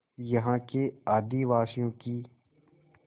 यहाँ के आदिवासियों की